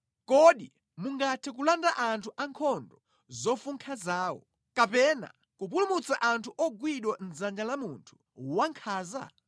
Kodi mungathe kulanda anthu ankhondo zofunkha zawo, kapena kupulumutsa anthu ogwidwa mʼdzanja la munthu wankhanza?